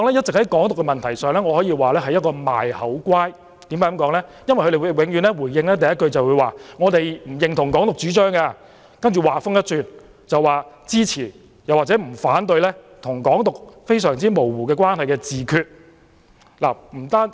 在"港獨"的問題上，泛民政黨一直在"賣口乖"，他們回應的第一句永遠是不認同"港獨"主張，接着話鋒一轉，說支持或不反對與"港獨"關係非常模糊的"自決"。